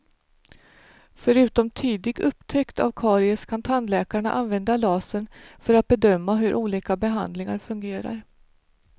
Förutom tidig upptäckt av karies kan tandläkarna använda lasern för att bedöma hur olika behandlingar fungerar.